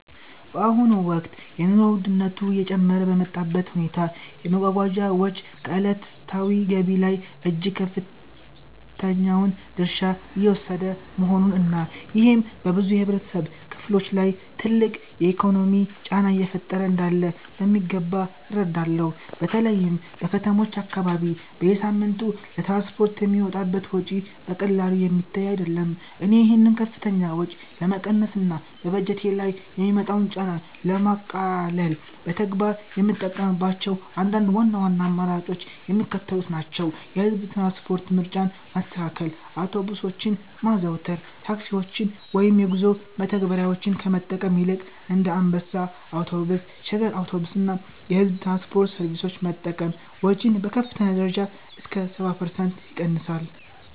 በአሁኑ ወቅት የኑሮ ውድነቱ እየጨመረ በመጣበት ሁኔታ፣ የመጓጓዣ ወጪ ከዕለታዊ ገቢ ላይ እጅግ ከፍተኛውን ድርሻ እየወሰደ መሆኑን እና ይሄም በብዙ የህብረተሰብ ክፍሎች ላይ ትልቅ የኢኮኖሚ ጫና እየፈጠረ እንዳለ በሚገባ እረዳለሁ። በተለይም በከተሞች አካባቢ በየሳምንቱ ለትራንስፖርት የሚወጣው ወጪ በቀላሉ የሚታይ አይደለም። እኔ ይህንን ከፍተኛ ወጪ ለመቀነስ እና በበጀቴ ላይ የሚመጣውን ጫና ለማቃለል በተግባር የምጠቀምባቸው አንዳንድ ዋና ዋና አማራጮች የሚከተሉት ናቸው፦ የህዝብ ትራንስፖርት ምርጫን ማስተካከል አውቶቡሶችን ማዘውተር፦ ታክሲዎችን ወይም የጉዞ መተግበሪያዎችን ከመጠቀም ይልቅ እንደ አንበሳ አውቶቡስ፣ ሸገር አውቶቡስ እና የሕዝብ ትራንስፖርት ሰርቪሶችን መጠቀም ወጪን በከፍተኛ ደረጃ እስከ 70% ይቀንሳል።